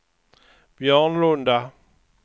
Björnlunda